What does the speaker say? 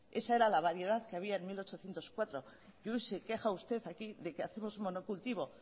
esa era la variedad que había en mil ochocientos cuatro y hoy se queja usted aquí de que hacemos monocultivo